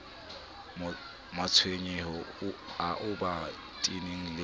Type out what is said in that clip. matshwenyeho ao ba teaneng le